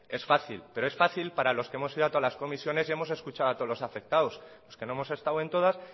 es fácil pero es fácil para los que hemos ido a todas las comisiones y hemos escuchado a todos los afectados los que no hemos estado en todas